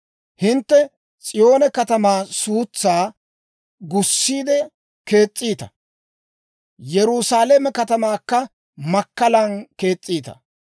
Hintte S'iyoone katamaa suutsaa gussiide kees's'iita; Yerusaalame katamaakka makkalan kees's'iita.